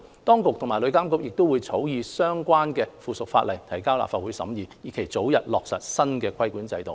當局及旅監局亦會草擬相關的附屬法例，提交立法會審議，以期早日落實新的規管制度。